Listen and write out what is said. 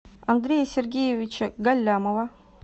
андрея сергеевича галлямова